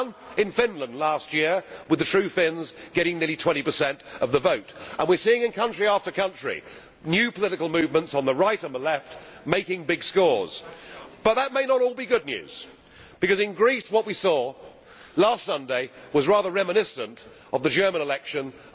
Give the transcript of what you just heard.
It began in Finland last year with the True Finns getting nearly 20 of the vote and we are seeing in country after country new political movements on the Right and on the Left making big scores. But that may not be all good news because what we saw in Greece last Sunday was rather reminiscent of the German election of